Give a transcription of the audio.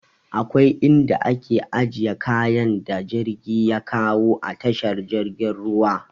Akwai inda ake ajiye kayan da jirgi ya kawo a tashar jirgin ruwa.